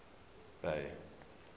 bay